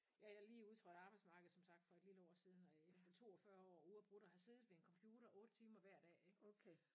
Ja jeg lige udtrådt af arbejdsmarkedet som sagt for et lille år siden efter 42 år uafbrudt at have siddet ved en computer 8 timer hver dag ik